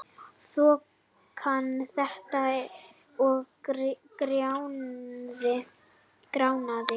Þokan þéttist og gránaði.